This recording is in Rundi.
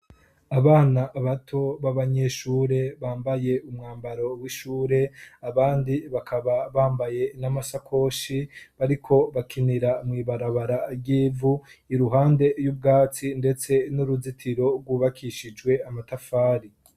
Abana bato b'abanyeshure bambaye umwambaro w'ishure abandi bakaba bambaye n'amasakoshi bariko bakinira mw'ibarabara ry'ivu iruhande y'ubwatsi ndetse n'uruzitiro rwubakishijwe amatafari.